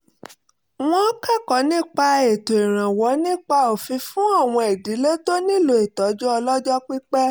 wọ́n kẹ́kọ̀ọ́ nípa ètò ìrànwọ́ nípa òfin fún àwọn ìdílé tó nílò ìtọ́jú ọlọ́jọ́ pípẹ́